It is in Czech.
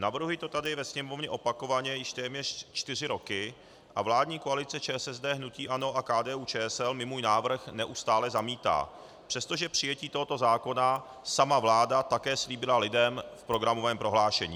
Navrhuji to tady ve Sněmovně opakovaně již téměř čtyři roky a vládní koalice ČSSD, hnutí ANO a KDU-ČSL mi můj návrh neustále zamítá, přestože přijetí tohoto zákona sama vláda také slíbila lidem v programovém prohlášení.